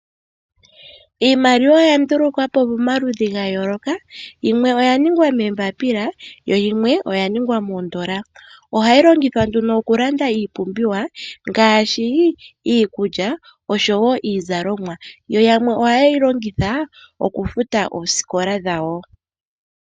Iimaliwa oya ndulukwa po pamaludhi gayooloka. Yimwe oya ningwa moombaapila yo yimwe oya ningwa miingoli niisilveli. Ohayi longithwa nduno okulanda iipumbiwa ngaashi iikulya osho wo iizalomwa. Yamwe ohaye yi longitha okufuta oosikola dhawo.